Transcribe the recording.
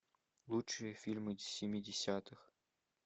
лучшие фильмы семидесятых